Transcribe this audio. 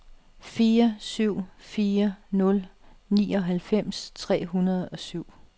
fire syv fire nul nioghalvfems tre hundrede og syv